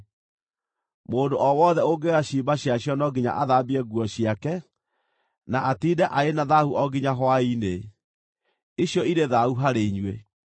Mũndũ o wothe ũngĩoya ciimba ciacio no nginya athambie nguo ciake, na atiinde arĩ na thaahu o nginya hwaĩ-inĩ. Icio irĩ thaahu harĩ inyuĩ.